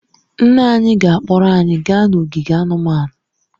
Nna anyị ga-akpọrọ anyị gaa n'ogige anụmanụ